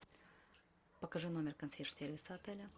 покажи номер консьерж сервиса отеля